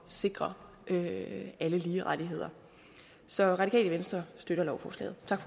sikre alle lige rettigheder så radikale venstre støtter lovforslaget tak